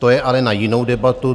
To je ale na jinou debatu.